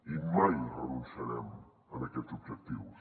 i mai renunciarem a aquests objectius